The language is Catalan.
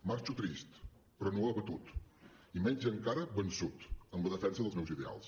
marxo trist però no abatut i menys encara vençut en la defensa dels meus ideals